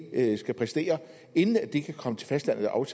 skal præstere inden de kan komme til fastlandet og